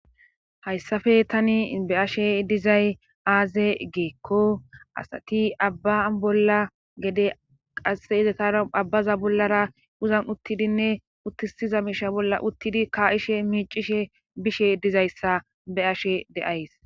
Hayissappe tani be ashe dizay aaze geekko asati abba bolla gede qasse izatara abbaza bollara uzan uttidinne uttisiza miisha bolla uttidi kaa7ishe miicishe bishe dizayssa be ashe deays.